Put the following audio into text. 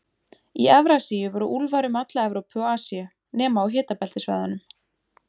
Í Evrasíu voru úlfar um alla Evrópu og Asíu, nema á hitabeltissvæðunum.